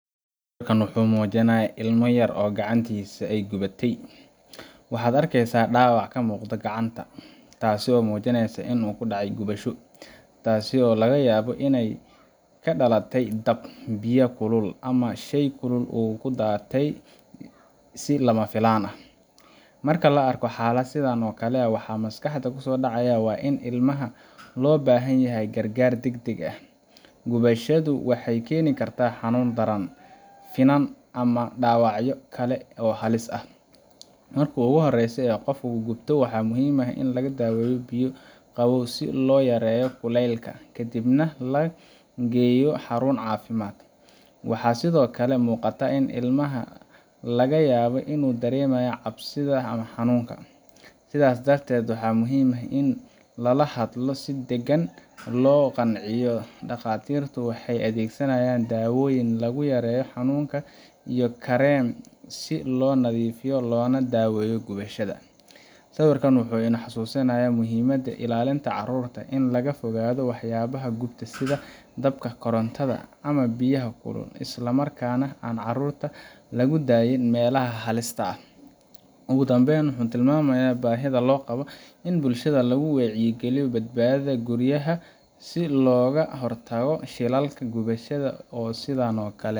Sawirkan waxa uu muujinayaa ilmo yar oo gacantiisa ay gubatay. Waxaad arkaysaa dhaawac ka muuqda gacanta, taas oo muujinaysa in uu ku dhacay gubasho – taasoo laga yaabo inay ka dhalatay dab, biyaha kulul, ama shay kulul oo uu ku taabtay si lama filaan ah. Marka la arko xaalad sidan oo kale ah, waxaa maskaxda ku soo dhacaya in ilmaha loo baahan yahay gargaar degdeg ah. Gubashadu waxay keeni kartaa xanuun daran, finan ama dhaawacyo kale oo halis ah. Marka ugu horeysa ee qofku gubto, waa muhiim in lagu daweeyo biyo qabow si loo yareeyo kulaylka, kadibna la geeyo xarun caafimaad. Waxaa sidoo kale muuqata in ilmaha laga yaabo inuu dareemayo cabsida ama xanuunka, sidaas darteed waxaa muhiim ah in lala hadlo si deggan oo lagu qanciyo. Dhakhaatiirtu waxay adeegsanayaan daawooyin lagu yareeyo xanuunka iyo kareem si loo nadiifiyo loona daaweeyo gubashada. Sawirkani wuxuu inoo xasuusinayaa muhiimada ilaalinta carruurta, in laga fogaado waxyaabaha gubta sida dabka, korontada, ama biyaha kulul, isla markaana aan carruurta lagu daynin meelaha halista ah. Ugu dambayn, wuxuu tilmaamayaa baahida loo qabo in bulshada lagu wacyigeliyo badbaadada guryaha, si looga hortago shilalka gubashada oo sidaan oo kale